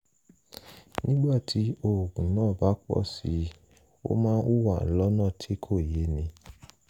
nígbà tí oògùn náà bá pọ̀ sí i ó máa ń hùwà lọ́nà tí kò yéni